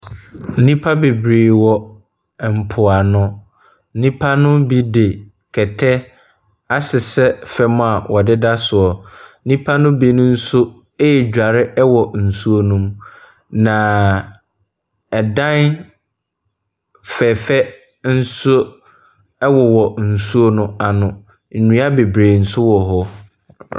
Nipa bebree wɔ ɛmpo ano. Nnipa no bi de kɛtɛ asesɛ fam a wɔdeda soɔ. Nnipa nom bi nso redware wɔ nsuo nom. Na ɛdan fɛfɛɛ ɛnso ɛwowɔ nsuo no ano. Nnua bebree nso wɔ hɔ.